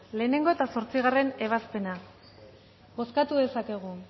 lehengo eta zortzigarren ebazpena bozkatu dezakegu